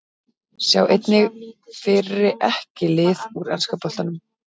Sjá einnig: Fyrri EKKI lið úr enska boltanum